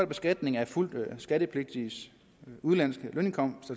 beskatning af fuldt skattepligtiges udenlandske lønindkomst